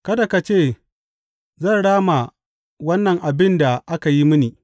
Kada ka ce, Zan rama wannan abin da aka yi mini!